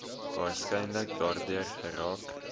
waarskynlik daardeur geraak